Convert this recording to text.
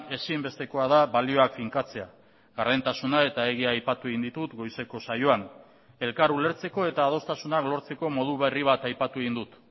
ezinbestekoa da balioak finkatzea gardentasuna eta egia aipatu egin ditut goizeko saioan elkar ulertzeko eta adostasunak lortzeko modu berri bat aipatu egin dut